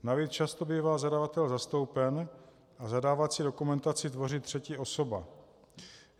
Navíc často bývá zadavatel zastoupen a zadávací dokumentaci tvoří třetí osoba.